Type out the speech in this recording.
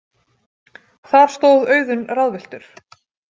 Þar stóð Auðunn ráðvilltur.